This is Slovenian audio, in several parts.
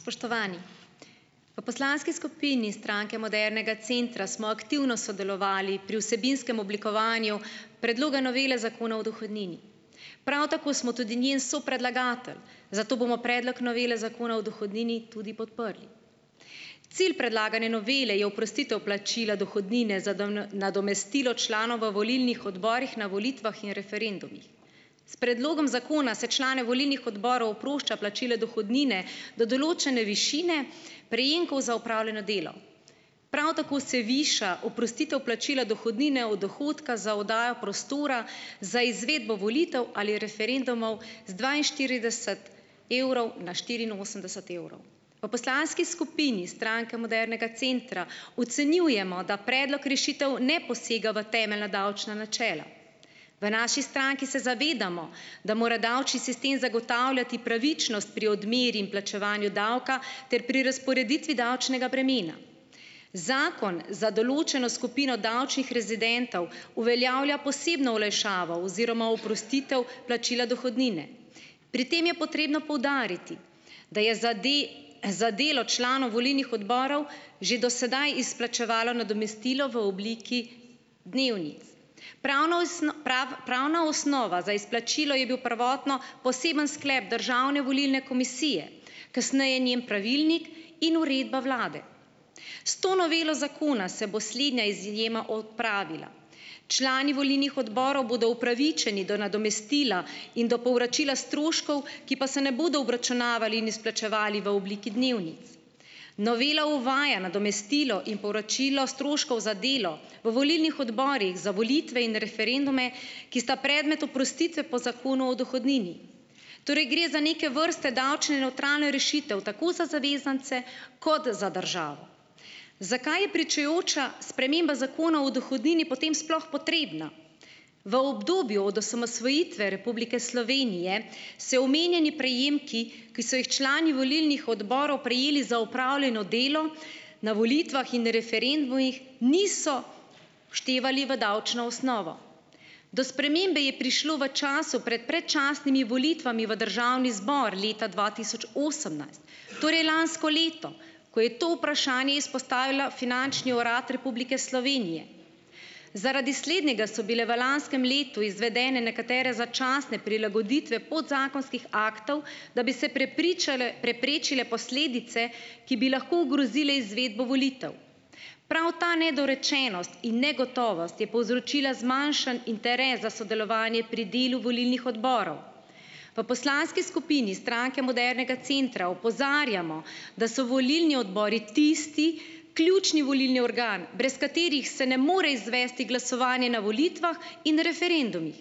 Spoštovani! V poslanski skupini Stranke modernega centra smo aktivno sodelovali pri vsebinskem oblikovanju Predloga novele Zakona o dohodnini. Prav tako smo tudi njen sopredlagatelj, zato bomo Predlog novele Zakona o dohodnini tudi podprli. Cilj predlagane novele je oprostitev plačila dohodnine za nadomestilo članov v volilnih odborih na volitvah in referendumih. S predlogom zakona se člane volilnih odborov oprošča plačila dohodnine do določene višine prejemkov za opravljeno delo. Prav tako se viša oprostitev plačila dohodnine od dohodka za oddajo prostora za izvedbo volitev ali referendumov z dvainštirideset evrov na štiriinosemdeset evrov. V poslanski skupini Stranke modernega centra ocenjujemo, da predlog rešitev ne posega v temeljna davčna načela. V naši stranki se zavedamo, da mora davčni sistem zagotavljati pravičnost pri odmeri in plačevanju davka ter pri razporeditvi davčnega bremena. Zakon za določeno skupino davčnih rezidentov uveljavlja posebno olajšavo oziroma oprostitev plačila dohodnine. Pri tem je potrebno poudariti, da je za za delo članov volilnih odborov že do sedaj izplačevalo nadomestilo v obliki dnevnic. Pravna pravna osnova za izplačilo je bil prvotno poseben sklep Državne volilne komisije, kasneje njen pravilnik in uredba vlade. S to novelo zakona se bo slednja izjema odpravila. Člani volilnih odborov bodo upravičeni do nadomestila in do povračila stroškov, ki pa se ne bodo obračunavali in izplačevali v obliki dnevnic. Novela uvaja nadomestilo in povračilo stroškov za delo v volilnih odborih za volitve in referendume, ki sta predmet oprostitve po Zakonu o dohodnini. Torej gre za neke vrste davčno nevtralno rešitev, tako za zavezance kot za državo. Zakaj je pričujoča sprememba Zakona o dohodnini potem sploh potrebna? V obdobju od osamosvojitve Republike Slovenije se omenjeni prejemki, ki so jih člani volilnih odborov prejeli za opravljeno delo na volitvah in referendumih, niso vštevali v davčno osnovo. Do spremembe je prišlo v času pred predčasnimi volitvami v državni zbor leta dva tisoč osemnajst, torej lansko leto, ko je to vprašanje izpostavil Finančni urad Republike Slovenije. Zaradi slednjega so bile v lanskem letu izvedene nekatere začasne prilagoditve podzakonskih aktov, da bi se prepričale preprečile posledice, ki bi lahko ogrozile izvedbo volitev. Prav ta nedorečenost in negotovost je povzročila zmanjšan interes za sodelovanje pri delu volilnih odborov. V poslanski skupini Stranke modernega centra opozarjamo, da so volilni odbori tisti ključni volilni organ, brez katerih se ne more izvesti glasovanje na volitvah in referendumih.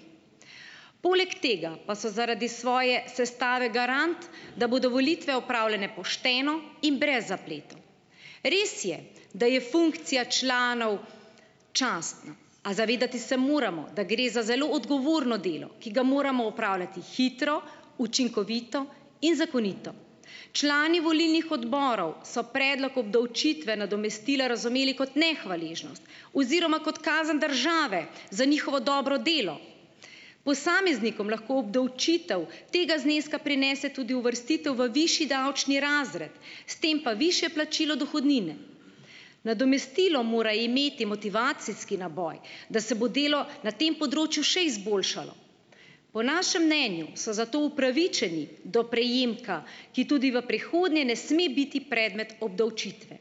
Poleg tega pa so zaradi svoje sestave garant, da bodo volitve opravljene pošteno in brez zapletov. Res je, da je funkcija članov častna, a zavedati se moramo, da gre za zelo odgovorno delo, ki ga moramo opravljati hitro, učinkovito in zakonito. Člani volilnih odborov so predlog obdavčitve nadomestila razumeli kot nehvaležnost oziroma kot kazen države za njihovo dobro delo. Posameznikom lahko obdavčitev tega zneska prinese tudi uvrstitev v višji davčni razred, s tem pa višje plačilo dohodnine. Nadomestilo mora imeti motivacijski naboj, da se bo delo na tem področju še izboljšalo. Po našem mnenju so zato upravičeni do prejemka, ki tudi v prihodnje ne sme biti predmet obdavčitve.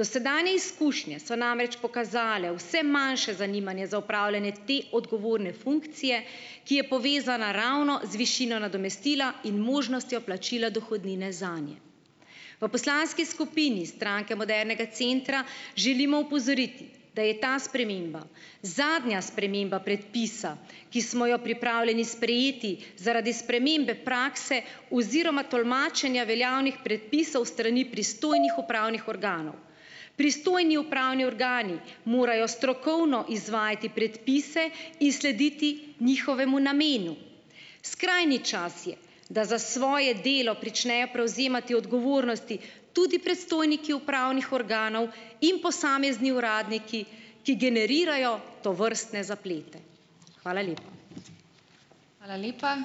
Dosedanje izkušnje so namreč pokazale vse manjše zanimanje za opravljanje te odgovorne funkcije, ki je povezana ravno z višino nadomestila in možnostjo plačila dohodnine zanje. V poslanski skupini Stranke modernega centra želimo opozoriti, da je ta sprememba zadnja sprememba predpisa, ki smo jo pripravljeni sprejeti zaradi spremembe prakse oziroma tolmačenja veljavnih predpisov s strani pristojnih upravnih organov. Pristojni upravni organi morajo strokovno izvajati predpise in slediti njihovemu namenu. Skrajni čas je, da za svoje delo pričnejo prevzemati odgovornosti tudi predstojniki upravnih organov in posamezni uradniki, ki generirajo tovrstne zaplete. Hvala lepa.